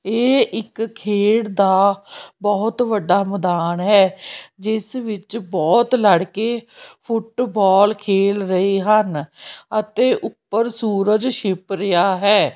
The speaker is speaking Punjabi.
ਇਹ ਇੱਕ ਖੇਡ ਦਾ ਬਹੁਤ ਵੱਡਾ ਮੈਦਾਨ ਹੈ ਜਿਸ ਵਿੱਚ ਬਹੁਤ ਲੜਕੇ ਫੁੱਟਬਾਲ ਖੇਲ ਰਹੇ ਹਨ ਅਤੇ ਉੱਪਰ ਸੂਰਜ ਛਿੱਪ ਰਿਹਾ ਹੈ।